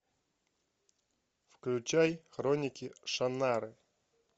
включай хроники шаннары